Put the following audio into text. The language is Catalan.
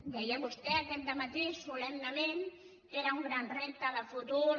deia vostè aquest dematí solemnement que era un gran repte de futur